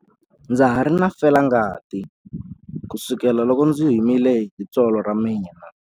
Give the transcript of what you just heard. Ndza ha ri na felangati kusukela loko ndzi himile hi tsolo ra mina.